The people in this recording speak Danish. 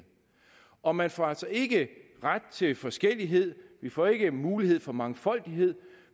og man får altså ikke ret til forskellighed vi får ikke mulighed for mangfoldighed